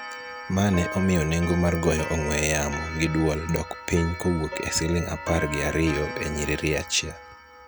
ma ne omiyo nengo mar goyo ong'we yamo gi dwol dok piny kowuok e siling apar gi ariyo e nyiriri achiel